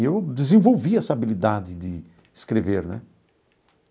E eu desenvolvi essa habilidade de escrever né.